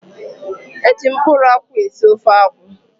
Eji mkpụrụ akwụ esị ofe akwụ.